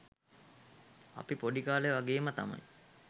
අපි පොඩි කාලේ වගේම තමයි